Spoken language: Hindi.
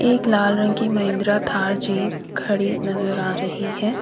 एक लाल रंग की महिंद्रा थार जीप खड़ी नजर आ रही है।